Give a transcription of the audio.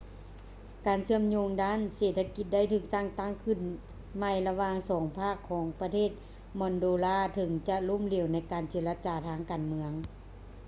ການເຊື່ອມໂຍງທາງດ້ານເສດຖະກິດໄດ້ຖືກສ້າງຕັ້ງຂຶ້ນໃໝ່ລະຫວ່າງສອງພາກຂອງປະເທດມອລໂດລາເຖິງຈະລົ້ມເຫຼວໃນການເຈລະຈາທາງການເມືອງ